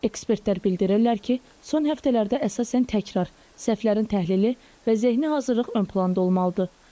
Ekspertlər bildirirlər ki, son həftələrdə əsasən təkrar, səhvlərin təhlili və zehni hazırlıq ön planda olmalıdır.